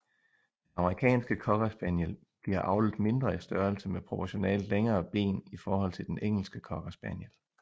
Den amerikanske cocker spaniel bliver avlet mindre i størrelse med proportionalt længere ben i forhold til den engelske cocker spaniel